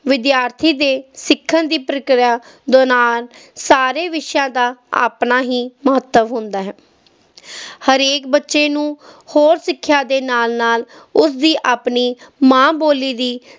ਵਿਦਿਆਰਥੀ ਦੇ ਸਿੱਖਣ ਦੀ ਪ੍ਰਕਿਰਿਆ ਦੇ ਨਾਲ ਸਾਰੇ ਵਿਸ਼ਿਆਂ ਦਾ ਆਪਣਾ ਹੀ ਮਹੱਤਵ ਹੁੰਦਾ ਹੈ ਹਰੇਕ ਬੱਚੇ ਨੂੰ ਹੋਰ ਸਿੱਖਿਆ ਦੇ ਨਾਲ ਨਾਲ ਉਸਦੀ ਆਪਣੀ ਮਾਂ ਬੋਲੀ ਦੀ